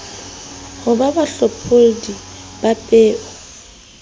ho ba bahlopholli ba peo